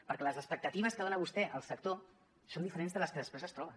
perquè les expectatives que dona vostè al sector són diferents de les que després es troba